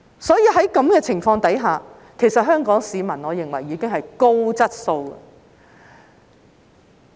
所以，在此情況下，我認為香港市民已經屬高質素了。